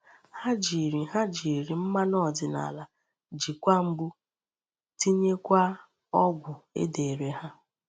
Hà jiri Hà jiri mmanụ ọdịnala jikwa mgbu, tinyekwaa ọgwụ e dere ha.